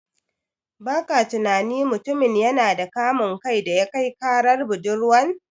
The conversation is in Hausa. Baka tunani mutumin yana da kamun kai daya kai karar budurwan?